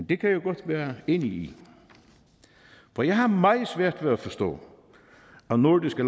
det kan jeg godt være enig i for jeg har meget svært ved at forstå at nordiske